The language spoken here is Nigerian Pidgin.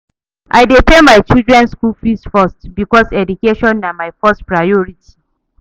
I dey pay my children skool fees first because education na my first priority.